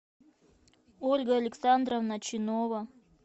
ольга александровна чинова